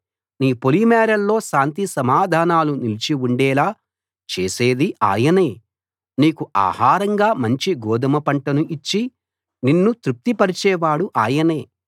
నీ పొలిమేరల్లో శాంతి సమాధానాలు నిలిచి ఉండేలా చేసేది ఆయనే నీకు ఆహారంగా మంచి గోదుమ పంటను ఇచ్చి నిన్ను తృప్తిపరచేవాడు ఆయనే